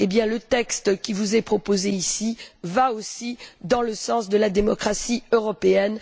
Le texte qui vous est proposé ici va, lui aussi, dans le sens de la démocratie européenne.